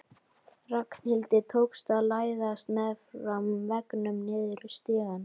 Ragnhildi tókst að læðast meðfram veggnum niður stigann.